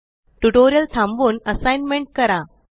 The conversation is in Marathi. ट्यूटोरियल थांबवून असाइनमेंट करा